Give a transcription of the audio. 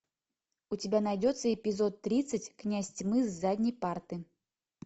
у тебя найдется эпизод тридцать князь тьмы с задней парты